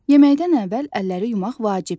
Yeməkdən əvvəl əlləri yumaq vacibdir.